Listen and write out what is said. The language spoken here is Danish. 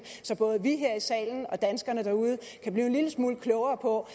så både vi her i salen og danskerne derude kan blive en lille smule klogere på